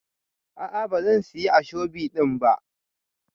A'a bazan siya ashobi din ba.